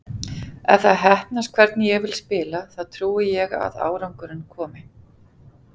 Ef það heppnast hvernig ég vil spila þá trúi ég að árangurinn komi.